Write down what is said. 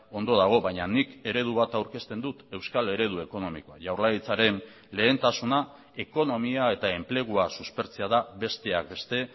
ondo dago baina nik eredu bat aurkezten dut euskal eredu ekonomikoa jaurlaritzaren lehentasuna ekonomia eta enplegua suspertzea da besteak beste